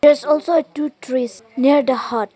its also a two trees near the hut.